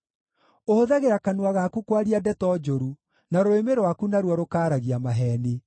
Ũhũthagĩra kanua gaku kwaria ndeto njũru, na rũrĩmĩ rwaku naruo rũkaaragia maheeni.